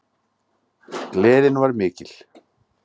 Gleðin var mikil.